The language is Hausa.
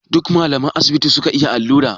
Duka malaman asibiti suka iya allura?